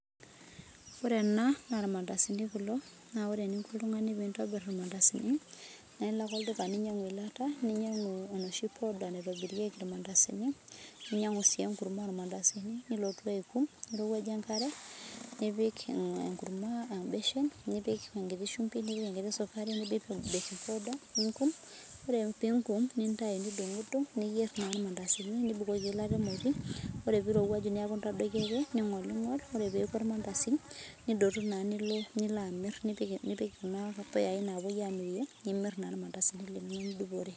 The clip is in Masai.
Ore ena naa irmandasini kulo naa ore eninko oltung'ani pee entobir irmandasini naa elo ake olduka ninyianguu eyilata ninyiangu enoshi powder naitobirieki irmandasini ninyiangu sii enoshi kurma naitobirieki irmandasini nilotu aikum niriwuaje enkare nipik enkurma ebeshen nipik enkiti shumbi nipik enkiti sukari nipik baking powder ningum ore pee engum nintau nidungudung niyier naa irmandasini nipik eyilata emoti ore pee erowuaju neeku entadoiki ake ningolingol ore peeku ormandasi nidotu nilo amir nipik Kuna puyai napuoi amirie nimir naa irmandasini linono nidupore